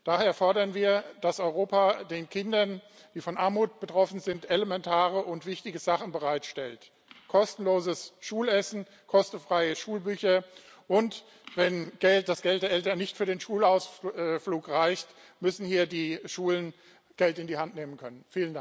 Daher fordern wir, dass Europa den Kindern, die von Armut betroffen sind, elementare und wichtige Sachen bereitstellt kostenloses Schulessen, kostenfreie Schulbücher, und wenn das Geld der Eltern für den Schulausflug nicht reicht, müssen hier die Schulen Geld in die Hand nehmen können.